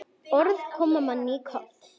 Orð koma manni í koll.